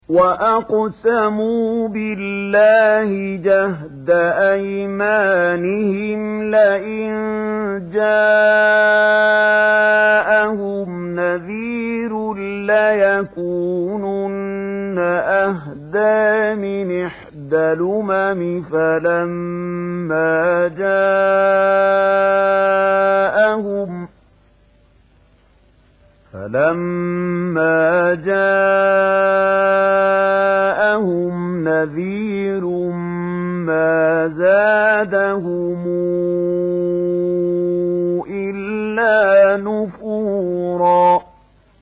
وَأَقْسَمُوا بِاللَّهِ جَهْدَ أَيْمَانِهِمْ لَئِن جَاءَهُمْ نَذِيرٌ لَّيَكُونُنَّ أَهْدَىٰ مِنْ إِحْدَى الْأُمَمِ ۖ فَلَمَّا جَاءَهُمْ نَذِيرٌ مَّا زَادَهُمْ إِلَّا نُفُورًا